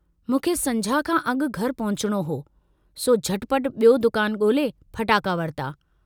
मूंखे संझा खां अगु घर पहुचणो हो, सो झट पट बियो दुकान गोल्हे फटाका वरता।